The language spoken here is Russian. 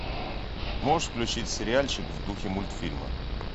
можешь включить сериальчик в духе мультфильма